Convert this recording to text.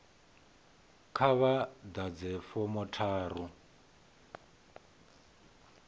kha vha ḓadze fomo tharu